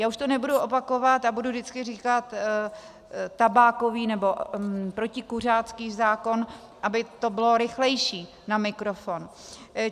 Já už to nebudu opakovat a budu vždycky říkat tabákový nebo protikuřácký zákon, aby to bylo rychlejší na mikrofon.